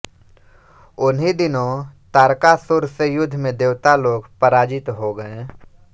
उन्हीं दिनों तारकासुर से युद्ध में देवता लोग पराजित हो गए